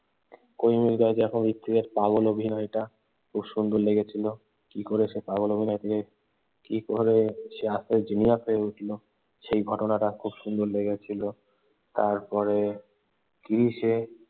কোই মিল গায়াতে হৃত্বিকের পাগল অভিনয়টা খুব সুন্দর লেগেছিল। কি করে সে পাগল অভিনয় থেকে কি করে সে আস্তে আস্তে জিনিয়াস হয়ে উঠল সেই ঘটনাটা খুব সুন্দর লেগেছিল, তারপরে ক্রিসে